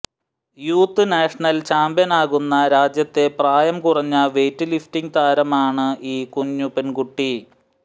youth national ചാമ്പ്യനാകുന്ന രാജ്യത്തെ പ്രായം കുറഞ്ഞ വെയ്റ്റ് ലിഫ്റ്റിംഗ് താരമാണ് ഈ കുഞ്ഞു പെണ്കുട്ടി